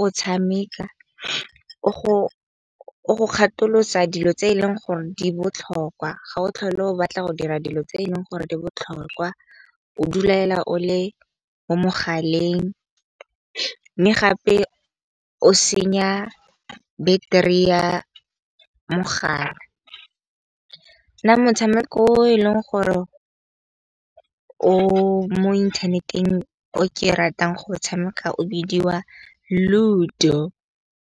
o tshameka. O go ikgatholosa dilo tse eleng gore di botlhokwa ga o tlhole o batla go dira dilo tse eleng gore di botlhokwa. O duelela o le mo mogaleng, mme gape o senya battery-e ya mogala. Nna motshameko e leng gore o mo inthaneteng o ke ratang go tshameka o bidiwa Ludo.